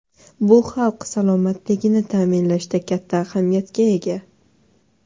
Bu xalq salomatligini ta’minlashda katta ahamiyatga ega.